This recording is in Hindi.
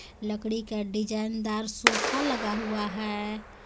लकड़ी का डिजाइनदार सोफा लगा हुआ है .]